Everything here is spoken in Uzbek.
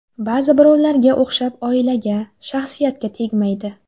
Ba’zi birovlarga o‘xshab oilaga, shaxsiyatga tegmaydi.